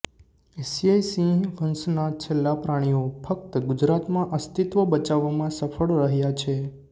એશીયાઇ સિંહ વંશના છેલ્લા પ્રાણીઓ ફક્ત ગુજરાતમાં અસ્તિત્વ બચાવવામાં સફળ રહ્યા છે